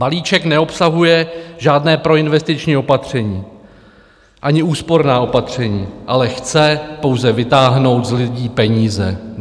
Balíček neobsahuje žádné proinvestiční opatření ani úsporná opatření, ale chce pouze vytáhnout z lidí peníze.